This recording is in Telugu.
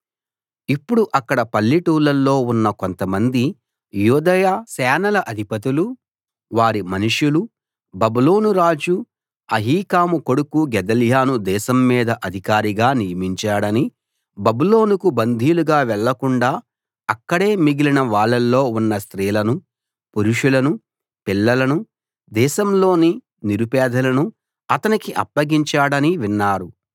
ఇప్పుడు అక్కడ పల్లెటూళ్ళల్లో ఉన్న కొంతమంది యూదయ సేనల అధిపతులూ వారి మనుషులూ బబులోను రాజు అహీకాము కొడుకు గెదల్యాను దేశం మీద అధికారిగా నియమించాడనీ బబులోనుకు బందీలుగా వెళ్ళకుండా అక్కడే మిగిలిన వాళ్ళలో ఉన్న స్త్రీలను పురుషులను పిల్లలను దేశంలోని నిరుపేదలను అతనికి అప్పగించాడనీ విన్నారు